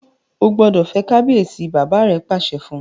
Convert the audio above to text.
O gbódò fè kabiyesi! bàbá rẹ pàṣẹ fún.